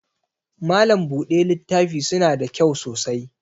Malam buɗe littafi suna da kyau sosai